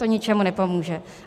To ničemu nepomůže.